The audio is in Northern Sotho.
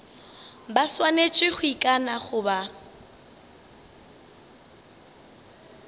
ba swanetše go ikana goba